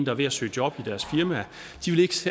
er ved at søge job i deres firma